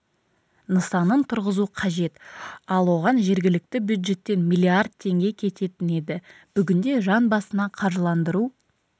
нысанын тұрғызу қажет ал оған жергілікті бюджеттен миллиард теңге кететін еді бүгінде жан басына қаржыландыру